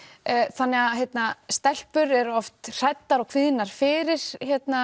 þannig að stelpur eru oft hræddar og kvíðnar fyrir